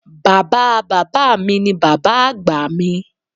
Baba baba mi ni baba agba mi.